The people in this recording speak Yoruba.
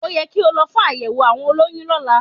Ó ye kí o lo fún àyẹ̀wò àwọn olóyún lóla